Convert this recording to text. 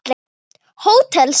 Hótel Saga.